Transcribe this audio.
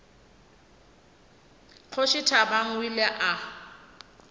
kgoši thabang o ile a